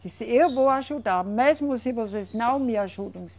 Disse, eu vou ajudar, mesmo se vocês não me ajudam.